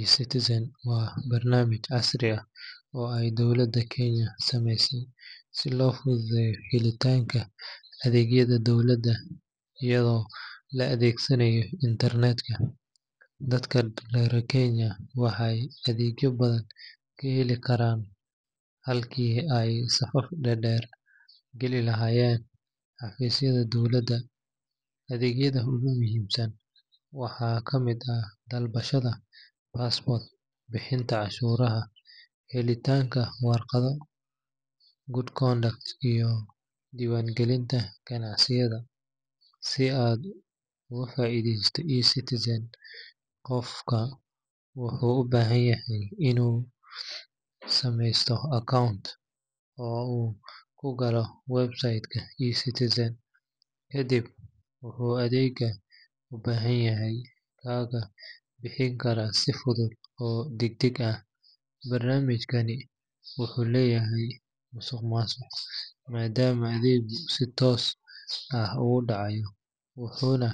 eCitizen waa barnaamij casri ah oo ay dowladda Kenya samaysay si loo fududeeyo helitaanka adeegyada dawladeed iyadoo la adeegsanayo internet-ka. Dadka reer Kenya waxay adeegyo badan ka heli karaan halkii ay safaf dhaadheer geli lahaayeen xafiisyada dowladda. Adeegyada ugu muhiimsan waxaa ka mid ah dalbashada passport, bixinta cashuuraha, helitaanka warqadda Good Conduct, iyo diiwaangelinta ganacsiyada. Si aad uga faa’iidaysato eCitizen, qofku wuxuu u baahan yahay inuu sameysto account oo uu ku galo website-ka eCitizen, kadibna wuxuu adeegga u baahan yahay kaga bixi karaa si fudud oo degdeg ah. Barnaamijkani wuxuu yareeyay musuqmaasuqa maadaama adeeggu si toos ah u dhacayo, wuxuuna